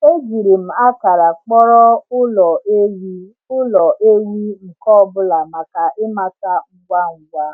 Ejiri m akara kpọrọ ụlọ ewi ụlọ ewi nke ọ bụla maka ịmata ngwa ngwa.